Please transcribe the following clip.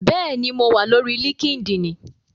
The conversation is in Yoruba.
Bẹ́ẹ̀ni, mo wà lórí líkídíìnì